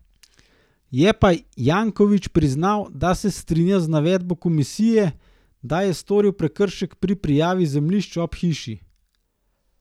Je pa Janković priznal, da se strinja z navedbo komisije, da je storil prekršek pri prijavi zemljišč ob hiši.